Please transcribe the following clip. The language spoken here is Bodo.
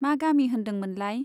मा गामि होन्दों मोनलाइ ?